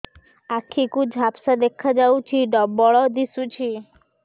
ଆଖି କୁ ଝାପ୍ସା ଦେଖାଯାଉଛି ଡବଳ ଦିଶୁଚି